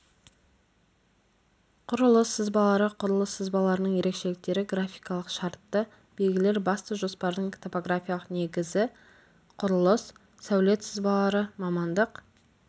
құрылыс сызбалары құрылыс сызбаларының ерекшеліктері графикалық шартты белгілер басты жоспардың топографиялық негізі құрылыс сәулет сызбалары мамандық